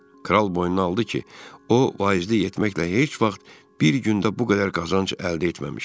Kral boynuna aldı ki, o vaizlik etməklə heç vaxt bir gündə bu qədər qazanc əldə etməmişdi.